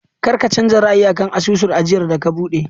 Kar ka canza ra'ayi a kan asusun ajiyar da ka buɗe!